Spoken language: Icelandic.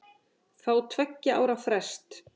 Fá tveggja ára frest